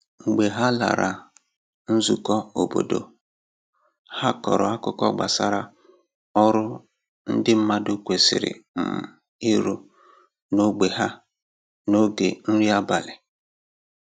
Mgbe ha lara nzùkọ̀ óbọ̀dò, ha kọrọ àkùkọ̀ gbasà ọrụ ndị mmadụ kwesịrị um ịrụ n’ógbè ha n’oge nri abalị